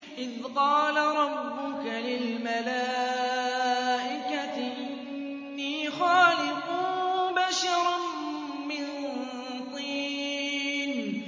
إِذْ قَالَ رَبُّكَ لِلْمَلَائِكَةِ إِنِّي خَالِقٌ بَشَرًا مِّن طِينٍ